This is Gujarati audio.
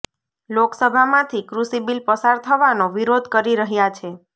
લોકસભામાંથી કૃષિ બિલ પસાર થવાનો વિરોધ કરી રહ્યા છે